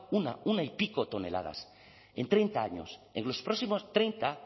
una y pico toneladas en treinta años en los próximos treinta